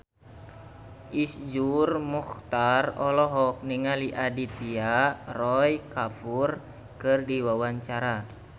Iszur Muchtar olohok ningali Aditya Roy Kapoor keur diwawancara